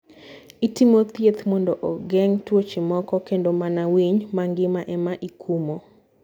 ItimO thieth mondo ogeng' tuoche moko kendo mana winy mangima ema ikumo.